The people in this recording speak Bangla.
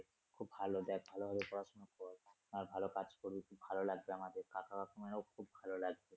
খুব ভালো দেখ ভালোভাবে পড়াশুনা কর আর ভালো কাজ করবি ভালো লাগবে আমাদের কাকা কাকিমারও খুব ভালো লাগবে।